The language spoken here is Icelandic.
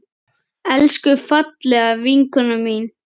Elsku, fallega vinkona mín.